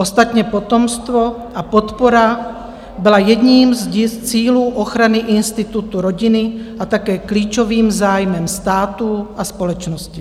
Ostatně potomstvo a podpora byla jedním z cílů ochrany institutu rodiny a také klíčovým zájmem státu a společnosti.